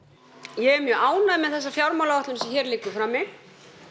er mjög ánægð með þessa fjármálaáætlun sem hér liggur frammi